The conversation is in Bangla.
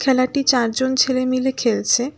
খেলাটি চারজন ছেলে মিলে খেলছে।